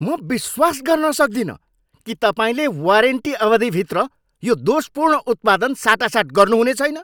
म विश्वास गर्न सक्दिनँ कि तपाईँले वारेन्टी अवधिभित्र यो दोषपूर्ण उत्पादन साटासाट गर्नुहुने छैन।